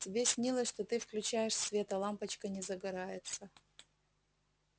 тебе снилось что ты включаешь свет а лампочка не загорается